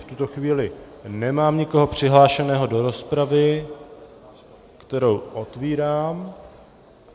V tuto chvíli nemám nikoho přihlášeného do rozpravy, kterou otvírám.